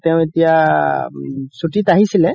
তেও এতিয়া চুতিত আহিছিলে